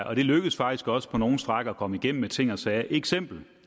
og det lykkedes faktisk også på nogle stræk at komme igennem med ting og sager et eksempel